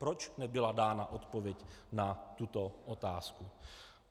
Proč nebyla dána odpověď na tuto otázku?